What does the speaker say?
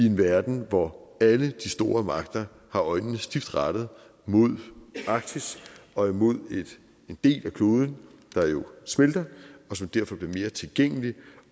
en verden hvor alle de store magter har øjnene stift rettet mod arktis og imod en del af kloden der jo smelter og som derfor bliver mere tilgængelig